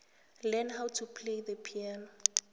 learn how to play the piano